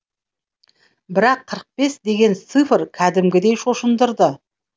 бірақ қырық бес деген цифр кәдімгідей шошындырды